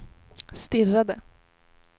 stirrade